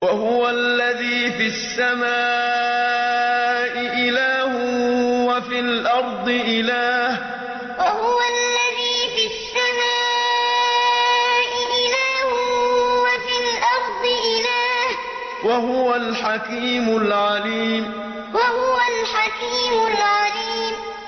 وَهُوَ الَّذِي فِي السَّمَاءِ إِلَٰهٌ وَفِي الْأَرْضِ إِلَٰهٌ ۚ وَهُوَ الْحَكِيمُ الْعَلِيمُ وَهُوَ الَّذِي فِي السَّمَاءِ إِلَٰهٌ وَفِي الْأَرْضِ إِلَٰهٌ ۚ وَهُوَ الْحَكِيمُ الْعَلِيمُ